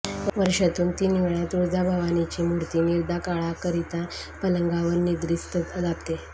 वर्षातून तीन वेळा तुळजाभवानीची मूर्ती निद्राकाळाकरिता पलंगावर निद्रिस्त जाते